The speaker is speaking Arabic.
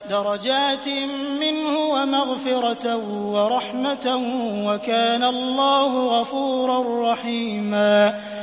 دَرَجَاتٍ مِّنْهُ وَمَغْفِرَةً وَرَحْمَةً ۚ وَكَانَ اللَّهُ غَفُورًا رَّحِيمًا